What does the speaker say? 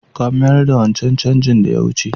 Ka mayars da wancan changin da ya wuce!